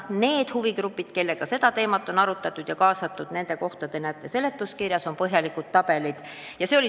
Nende huvigruppide arvamused, kellega seda teemat on arutatud, on kirjas seletuskirja põhjalikus tabelis.